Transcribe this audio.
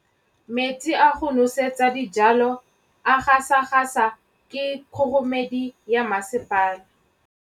Metsi a go nosetsa dijalo a gasa gasa ke kgogomedi ya masepala.